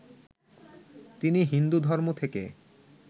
তিনি হিন্দু ধর্ম থেকে